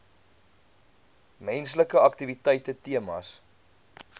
menslike aktiwiteite temas